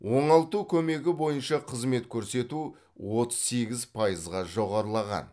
оңалту көмегі бойынша қызмет көрсету отыз сегіз пайызға жоғарылаған